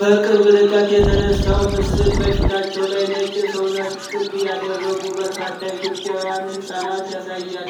በቅርብ ርቀት የተነሳው ምስል በፊታቸው ላይ ነጭ የሰውነት ቅብ ያደረጉ በርካታ ኢትዮጵያን ሕፃናትን ያሳያል።